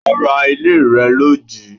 Ará ilé rẹ lọ jíí